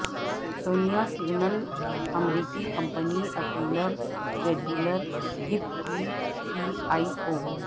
سونیا سینگل امریکی company apparel retailer Gap کی C E او